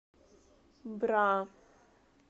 бра